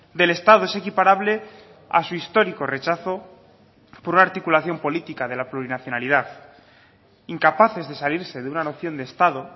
del estado es equiparable a su histórico rechazo por una articulación política de la plurinacionalidad incapaces de salirse de una noción de estado